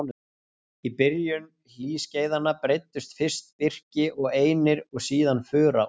Í byrjun hlýskeiðanna breiddust fyrst birki og einir og síðan fura út.